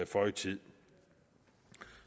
føje tid